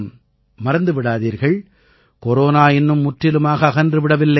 மறந்து விடாதீர்கள் கொரோனா இன்னும் முற்றிலுமாகச் அகன்று விடவில்லை